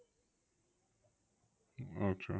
আচ্ছা